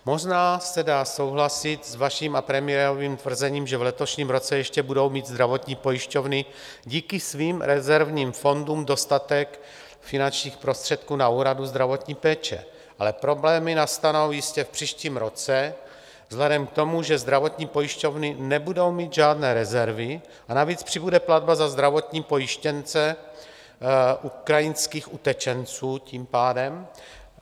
Možná se dá souhlasit s vaším a premiérovým tvrzením, že v letošním roce ještě budou mít zdravotní pojišťovny díky svým rezervním fondům dostatek finančních prostředků na úhradu zdravotní péče, ale problémy nastanou jistě v příštím roce vzhledem k tomu, že zdravotní pojišťovny nebudou mít žádné rezervy, a navíc přibude platba za zdravotní pojištěnce ukrajinských utečenců tím pádem.